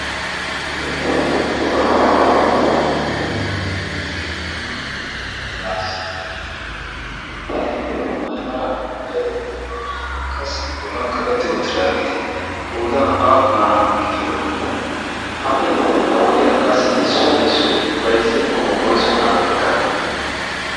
kappan aliaa ittaa qanttiyo gaassi ayyo aymala maray de'ii? qassi bollan kaqetti outtidaageeti koodan aappunaa gidiyoonaaaa ha"i ha wodiyan qassi issuwaa issoi baizziyaakko oisu biraa ekkanee?